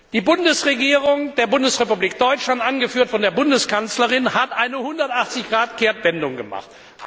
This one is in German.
Die Regierung der Bundesrepublik Deutschland angeführt von der Bundeskanzlerin hat eine 180 Grad Kehrtwende gemacht.